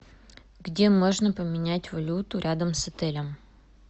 где можно поменять валюту рядом с отелем